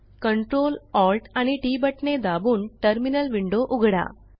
Ctrl Alt आणि T बटणे दाबून टर्मिनल विंडो उघडा